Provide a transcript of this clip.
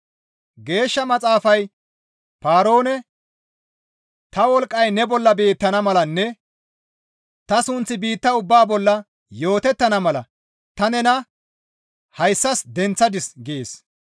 Geeshsha Maxaafay Paaroone, «Ta wolqqay ne bolla beettana malanne ta sunththi biitta ubbaa bolla yootettana mala ta nena hayssas denththadis» gees.